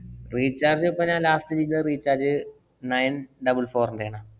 Recharge ഇപ്പ ഞാന്‍ last ചെയ്ത recharge nine double four ന്‍റെണ്.